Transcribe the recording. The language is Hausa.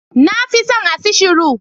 Na fi son acishiru